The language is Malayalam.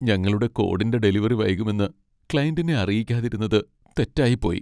ഞങ്ങളുടെ കോഡിന്റെ ഡെലിവറി വൈകുമെന്ന് ക്ലയൻ്റിനെ അറിയിക്കാതിരുന്നത് തെറ്റായിപ്പോയി.